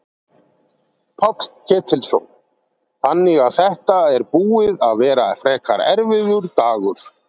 Páll Ketilsson: Þannig að þetta er búið að vera frekar erfiður dagur?